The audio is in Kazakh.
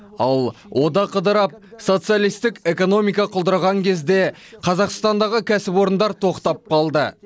ал одақ ыдырап социалистік экономика құлдыраған кезде қазақстандағы кәсіпорындар тоқтап қалды